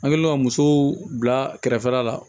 An kɛlen don ka musow bila kɛrɛfɛ la la